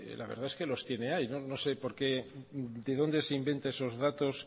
la verdad es que lo tiene ahí no sé de dónde se inventa esos datos